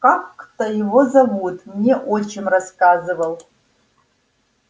как-то его зовут мне отчим рассказывал